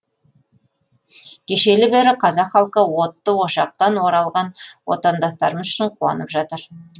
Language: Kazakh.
кешелі бері қазақ халқы отты ошақтан оралған отандастарымыз үшін қуанып жатыр